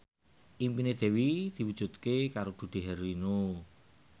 impine Dewi diwujudke karo Dude Herlino